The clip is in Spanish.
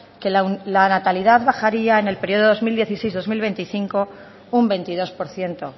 que la natalidad bajaría en el periodo dos mil dieciséis dos mil veinticinco un veintidós por ciento